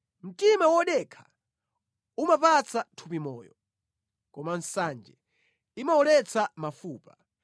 Mtima wodekha umapatsa thupi moyo, koma nsanje imawoletsa mafupa.